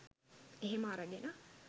එහෙම අරගෙන